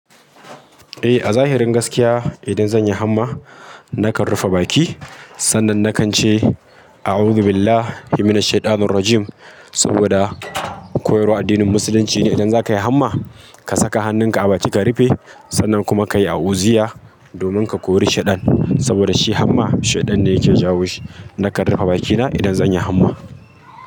Eh, a zahirin gaskiya idan zan yi hamma nakan rufe baki, sannan nakance "Auzubillah himinas shaidanirrajim" saboda koyarwar addinin musulunci ne idan zakayi hamma, ka saka hannunka a baki ka rufe sannan kuma ka yi a'uziyya domin ka kori shaiɗan saboda shi hamma, shaiɗan ne yake jawo shi. Nakan rufe bakina idan zanyi hamma.